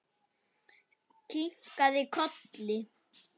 Kinkað kolli.